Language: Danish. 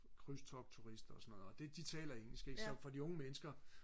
krydstogtturister og sådan noget og det de taler engelsk ikke så for de unge mennesker